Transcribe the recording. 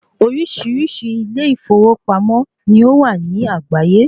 Oríṣiríṣi ilé ìfowópamọ́ ni ó wà ní àgbáyé.